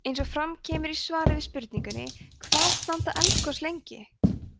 eins og fram kemur í svari við spurningunni hvað standa eldgos lengi